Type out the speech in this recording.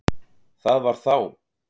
Það var þá!